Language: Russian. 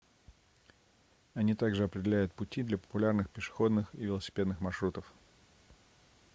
они также определяют пути для популярных пешеходных и велосипедных маршрутов